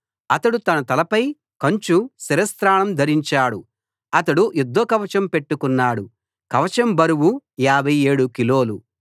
అతడు తన తలపై కంచు శిరస్త్రాణం ధరించాడు అతడు యుద్ధ కవచం పెట్టుకున్నాడు కవచం బరువు 57 కిలోలు